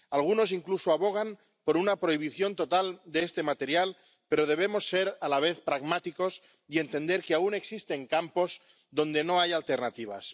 algunos incluso abogan por una prohibición total de este material, pero debemos ser a la vez pragmáticos y entender que aún existen campos donde no hay alternativas.